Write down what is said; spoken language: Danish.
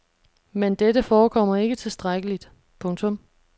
Men dette forekommer ikke tilstrækkeligt. punktum